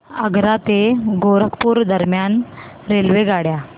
आग्रा ते गोरखपुर दरम्यान रेल्वेगाड्या